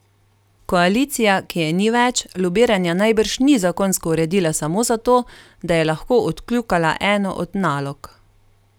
Koalicija, ki je ni več, lobiranja najbrž ni zakonsko uredila samo zato, da je lahko odkljukala eno od nalog.